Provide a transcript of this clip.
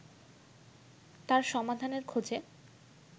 তার সমাধানের খোঁজে